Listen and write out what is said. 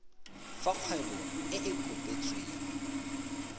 fa kgwebo e e kopetsweng